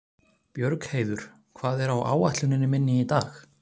Björgheiður, hvað er á áætluninni minni í dag?